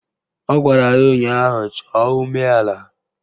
Ọ gwara ya ụnyaahụ "Chọọ umeala"!